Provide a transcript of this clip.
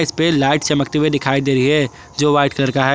पे लाइट चमकते हुए दिखाई दे रही है जो व्हाइट कलर का है।